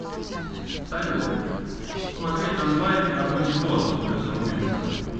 салют смотреть онлайн армагеддон с брюсом уиллисом